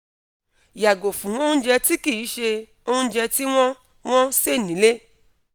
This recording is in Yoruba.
yago fun ounje ti kinse ounje ti won won se nile